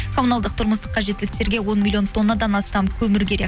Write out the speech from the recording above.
коммуналдық тұрмыстық кажеттіліктерге он миллион тоннадан астам көмір керек